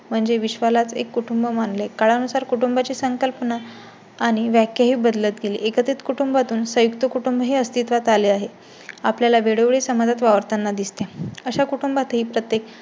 म्हणजे विश्वालाच एक कुटुंब मानले. काळानुसार कुटुंबांची संकल्पना आणि व्याख्या ही बदलत गेली. एकत्रित कुटुंबातून संयुक्त कुटुंब ही अस्तित्वात आले आहे. आपल्या ला वेळोवेळी समाजात वावरताना दिसते. अशा कुटुंबातही प्रत्येक